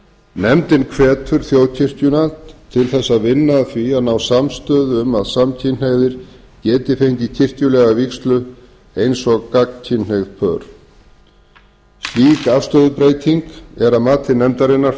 nefndin hvetur þjóðkirkjuna til að vinna að því að ná samstöðu um að samkynhneigðir geti fengið kirkjulega vígslu eins og gagnkynhneigð pör slík forstöðubreyting er að mati nefndarinnar